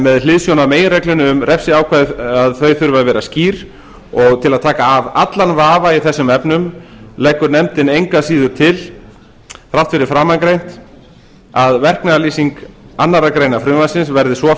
með hliðsjón af meginreglunni um að refsiákvæði þurfi að vera skýr og til að taka af allan vafa í þessum efnum leggur nefndin engu að síður til þrátt fyrir framangreint að verknaðarlýsing annarrar greinar frumvarpsins verði